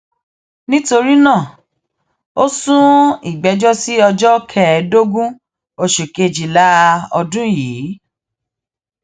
nítorí náà ó sún ìgbẹjọ sí ọjọ kẹẹẹdógún oṣù kejìlá ọdún yìí